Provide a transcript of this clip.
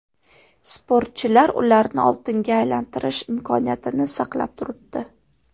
Sportchilar ularni oltinga aylantirish imkoniyatini saqlab turibdi.